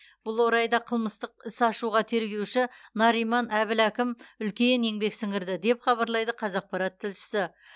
бұл орайда қылмыстық іс ашуға тергеуші нариман әбіләкім үлкен еңбек сіңірді деп хабарлайды қазақпарат тілшісі